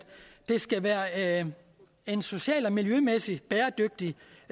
det skal være en social og miljømæssig bæredygtig